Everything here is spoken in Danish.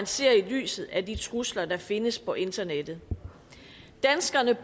set i lyset af de trusler der findes på internettet danskerne